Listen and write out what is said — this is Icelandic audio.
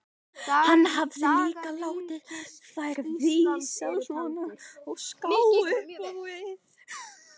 Hann hafði líka látið þær vísa svona á ská upp á við.